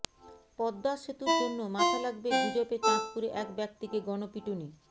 পদ্মা সেতুর জন্য মাথা লাগবে গুজবে চাঁদপুরে এক ব্যক্তিকে গণপিটুনি